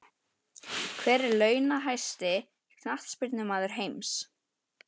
Hver er launahæsti Knattspyrnumaður heims?